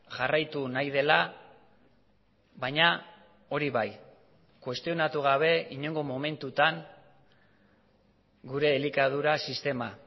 jarraitu nahi dela baina hori bai kuestionatu gabe inongo momentutan gure elikadura sistema